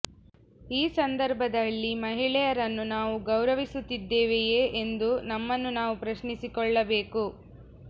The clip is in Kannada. ಈ ಸಂದರ್ಭದಲ್ಲಿ ಮಹಿಳೆಯರನ್ನು ನಾವು ಗೌರವಿಸುತ್ತಿದ್ದೆವೆಯೇ ಎಂದು ನಮ್ಮನ್ನು ನಾವು ಪ್ರಶ್ನಿಸಿಕೊಳ್ಳಬೇಕು